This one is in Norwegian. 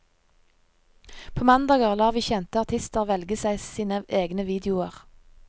På mandager lar vi kjente artister velge seg sine egne videoer.